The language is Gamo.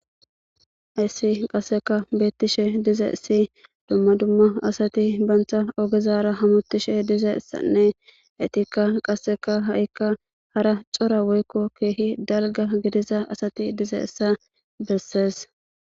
Hesi qaseka betishe dizayisi duma duma asati bantha ogezara hamutishe dizayisanne etika qasika hara co,ra woyiko kehi dalga gidiza asati dizayisa besees